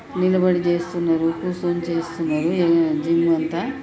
నిలబడి చేస్తున్నారు. కూసోని చేస్తున్నారు. ఈ జిమ్ అంతా--